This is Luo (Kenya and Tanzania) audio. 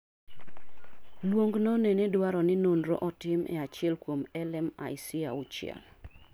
Luong no nene dwaro ni nonro otim e achiel kuom LMIC auchiel